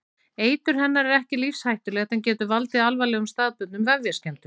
Eitur hennar er ekki lífshættulegt en getur valdið alvarlegum staðbundnum vefjaskemmdum.